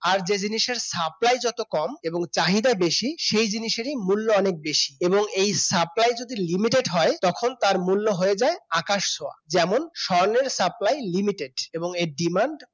আর যে জিনিসের supply যত কম এবং চাহিদা বেশি সে জিনিসেরই মূল্য অনেক বেশি এবং এই supply যদি Limited হয় তখন তার মূল্য হয়ে যায় আকাশ ছোঁয়া। যেমন স্বর্ণের supplyLimited এবং এর demand